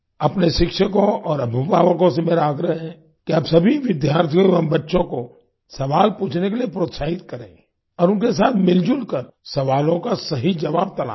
अपने शिक्षकों और अभिभावकों से मेरा आग्रह है कि आप सभी विद्यार्थियों एवं बच्चों को सवाल पूछने के लिए प्रोत्साहित करें और उनके साथ मिलजुल कर सवालों का सही जवाब तलाशें